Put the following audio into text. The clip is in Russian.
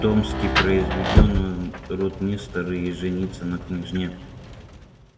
томский произведён в ротмистры и женится на княжне полине